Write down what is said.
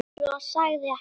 Svo sagði hann.